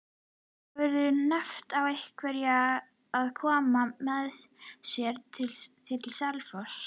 Hefurðu nefnt við einhverja að koma með þér til Selfoss?